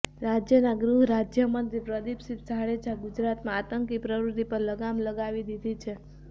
રાજ્યના ગૃહ રાજ્યમંત્રી પ્રદિપસિંહ જાડેજા ગુજરાતમાં આતંકી પ્રવૃતિ પર લગામ લગાવી દીધી છે